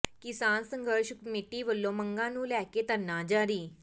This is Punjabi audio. ਕਿਸਾਨ ਸੰਘਰਸ਼ ਕਮੇਟੀ ਵੱਲੋਂ ਮੰਗਾਂ ਨੂੰ ਲੈ ਕੇ ਧਰਨਾ ਜਾਰੀ